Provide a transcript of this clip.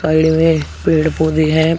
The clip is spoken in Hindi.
साइड में पेड़ पौधे हैं पी--